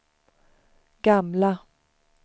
gamla